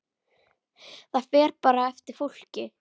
Það fer bara eftir fólki.